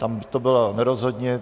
Tam to bylo nerozhodně.